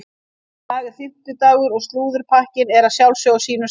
Í dag er fimmtudagur og slúðurpakkinn er að sjálfsögðu á sínum stað.